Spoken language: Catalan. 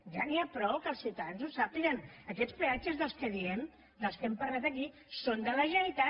ja n’hi ha prou que els ciutadans ho sàpiguen aquests peatges que diem dels que hem parlat aquí són de la generalitat